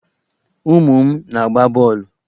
Ụmụ m na-agba bọọlụ.